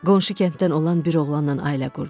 Qonşu kənddən olan bir oğlanla ailə qurdum.